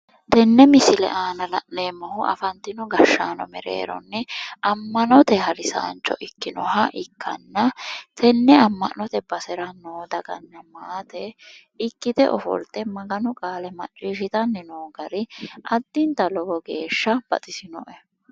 Tenne misile aana la'neemmohu afantino gashshaano mereerinni ammanote harisaancho ikkinoha ikkanna tenne amma'note basera noo daganna maate ikkite ofolte Maganu qaale macciishshitanni noo gari addinta lowo geeshsha baxisinoe.